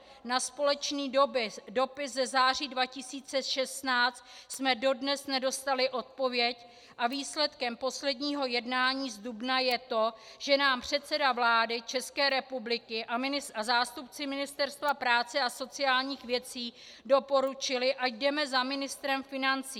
Na společný dopis ze září 2016 jsme dodnes nedostali odpověď a výsledkem posledního jednání z dubna je to, že nám předseda vlády České republiky a zástupci Ministerstva práce a sociálních věcí doporučili, ať jdeme za ministrem financí.